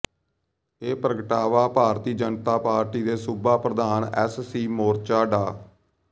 ਇਹ ਪ੍ਰਗਟਾਵਾ ਭਾਰਤੀ ਜਨਤਾ ਪਾਰਟੀ ਦੇ ਸੂਬਾ ਪ੍ਰਧਾਨ ਐੱਸਸੀ ਮੋਰਚਾ ਡਾ